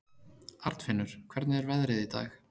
Arnfinnur, hvernig er veðrið í dag?